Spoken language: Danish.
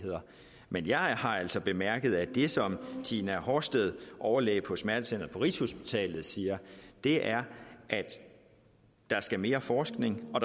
men jeg har altså bemærket at det som tina horsted overlæge på smertecenteret på rigshospitalet siger er at der skal mere forskning og